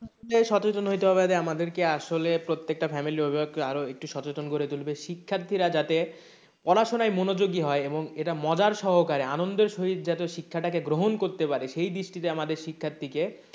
যে সচেতন হইতে হবে আরে আমাদেরকে আসলে প্রত্যেকটা family অভিভাবককে একটু সচেতন করে তুলবে শিক্ষার্থীরা যাতে পড়াশোনায় মনোযোগী হয় এবং এটা মজার সহকারে আনন্দের সহিত যাতে শিক্ষাটাকে গ্রহণ করতে পারে সেই দৃষ্টিতে আমাদের শিক্ষার্থীকে,